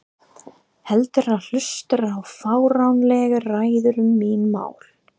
Heldur en hlusta á fáránlegar ræður um mín mál.